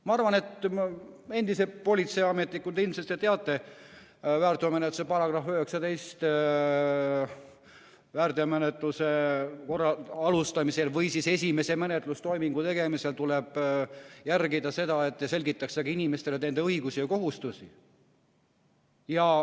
Ma arvan, et endise politseiametnikuna te ilmselt teate, et väärteomenetluse seadustiku § 19 ütleb, et väärteomenetluse alustamisel või siis esimese menetlustoimingu tegemisel tuleb järgida seda, et selgitataks inimestele nende õigusi ja kohustusi.